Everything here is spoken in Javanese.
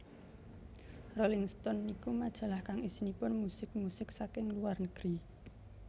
Rolling Stone niku majalah kang isinipun musik musik saking luar negeri